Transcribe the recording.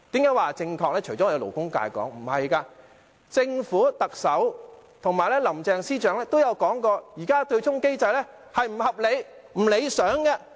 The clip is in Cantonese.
因為除了我們勞工界提出，政府、特首及林鄭司長均說過，現時的對沖機制並不合理、不理想。